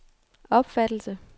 opfattelse